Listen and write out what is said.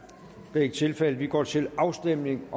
det er ikke tilfældet og vi går til afstemning